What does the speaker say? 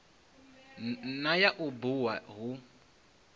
na ya u bua hu